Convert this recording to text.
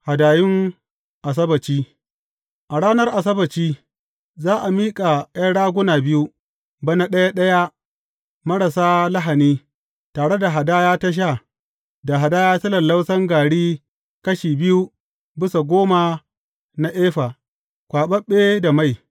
Hadayun Asabbaci A ranar Asabbaci, za a miƙa ’yan raguna biyu, bana ɗaya ɗaya marasa lahani, tare da hadaya ta sha, da hadaya ta lallausan gari kashi biyu bisa goma na efa, kwaɓaɓɓe da mai.